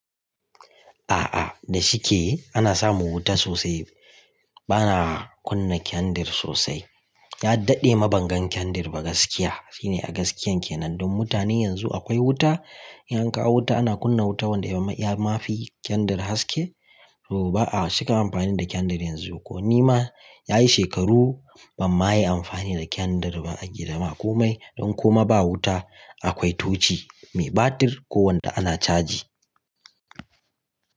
A'a, da shike ana samu wuta sosai. Bana kunna kyandir sosai. Ya daɗe ma bangon kyandir ba gaskiya. Shine a gaskiyan kenan. Don mutane yanzu akwai wuta, idan akawo wuta ana kunna wuta wanda ya ma fi kyandir haske, to ba'a shiga amfani da kyandir yanzu. Ko ni ma yayi shekaru ban ma yi amfani da kyandir ba a gida ma. Don kuma ba wuta, akwai tochi mai batir ko wanda ana caji.